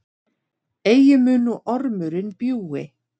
Eigi mun nú ormurinn bjúgi,